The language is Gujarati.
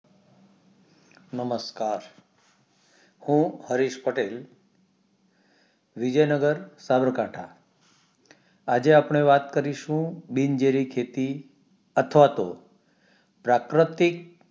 નમસ્કાર હું હરીશ પટેલ વિજયનગર સાબરકાંઠા આજે અપણે વાત કરીશું બિન જેરી ખેતી અથવા તો પ્રાકૃતિક